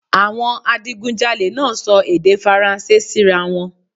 Awọn adigunjalè naa sọ èdè faranse sira wọn